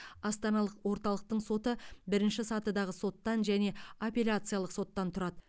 астаналық орталықтың соты бірінші сатыдағы соттан және апелляциялық соттан тұрады